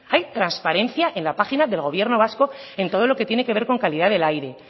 hay transparencia en la página del gobierno vasco en todo lo que tiene que ver con calidad del aire